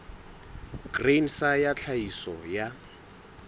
grain sa ya tlhahiso ya